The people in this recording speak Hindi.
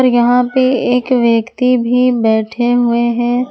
और यहां पे एक व्यक्ति भी बैठे हुए हैं।